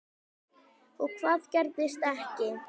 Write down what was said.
Og hvað gerðist ekki.